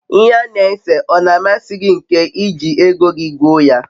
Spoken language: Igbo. ihe ana ese o na amasi gi nke iji ego gi goo ya?